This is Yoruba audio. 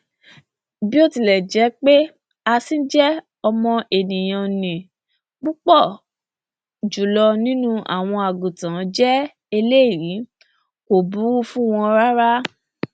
bí ó tilẹ jẹ pé asín jẹ́ ọmọ ènìyàn ni púpọ jùlọ nínú àwọn àgùntàn jẹ eléyìí kò búrú fún wọn rárá